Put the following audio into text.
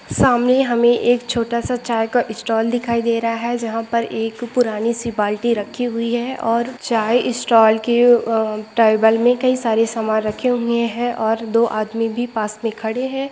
सामने हमें एक छोटा सा चाय का स्टॉल दिखाई दे रहा है जहाँ पर एक पुरानी सी बाल्टी रखी हुई है और चाय स्टॉल के अ टेबल में कई सारे सामान रखे हुए हैं और दो आदमी भी पास में खड़े हैं।